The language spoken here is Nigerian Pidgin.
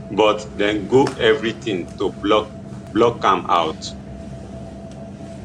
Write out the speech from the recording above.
but dem go evri tin to block block am out